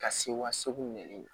Ka se wa segu ɲɛnen